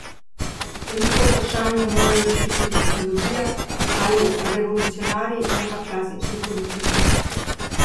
Velika vprašanja morajo rešiti tehnologija ali revolucionarji, ne pa klasični politiki.